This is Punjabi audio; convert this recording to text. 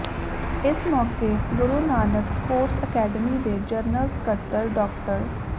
ਇਸ ਮੌਕੇ ਗੁਰੂ ਨਾਨਕ ਸਪੋਰਟਸ ਅਕੈਡਮੀ ਦੇ ਜਨਰਲ ਸਕੱਤਰ ਡਾ